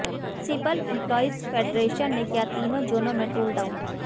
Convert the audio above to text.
municipal employees federation ने किया तीनो जोनो में टूल डॉउन